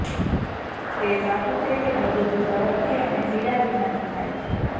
તે સાચું છે કે બધું જ ઝડપથી અને પીડા વિનાનું થાય છે